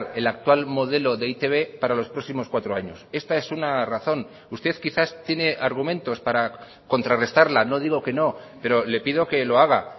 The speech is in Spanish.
el actual modelo de e i te be para los próximos cuatro años esta es una razón usted quizás tiene argumentos para contrarrestarla no digo que no pero le pido que lo haga